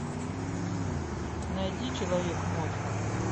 найди человек мозг